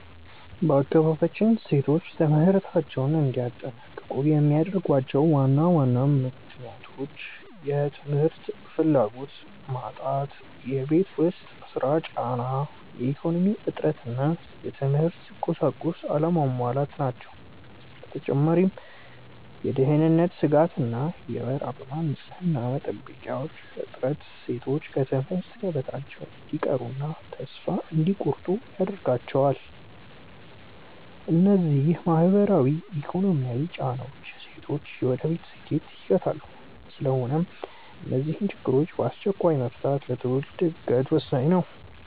በአካባቢያችን ሴቶች ትምህርታቸውን እንዳያጠናቅቁ የሚያደርጓቸው ዋና ዋና ምክንያቶች፦ የ ትምህርት ፍላጎት መጣት የቤት ውስጥ ሥራ ጫና፣ የኢኮኖሚ እጥረት እና የትምህርት ቁሳቁስ አለመሟላት ናቸው። በተጨማሪም የደህንነት ስጋት እና የወር አበባ ንፅህና መጠበቂያዎች እጥረት ሴቶች ከትምህርት ገበታቸው እንዲቀሩና ተስፋ እንዲቆርጡ ያደርጋቸዋል። እነዚህ ማህበራዊና ኢኮኖሚያዊ ጫናዎች የሴቶችን የወደፊት ስኬት ይገታሉ። ስለሆነም እነዚህን ችግሮች በአስቸኳይ መፍታት ለትውልድ ዕድገት ወሳኝ ነው።